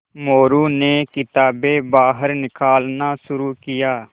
मोरू ने किताबें बाहर निकालना शुरू किया